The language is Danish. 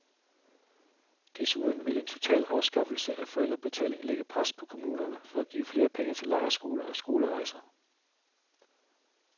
Desuden vil en total afskaffelse af forældrebetaling lægge pres på kommunerne for at give flere penge til lejrskoler og skolerejser.